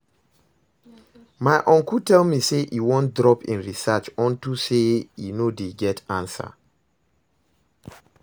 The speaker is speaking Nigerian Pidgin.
My uncle tell me say e wan drop im research unto say e no dey get answer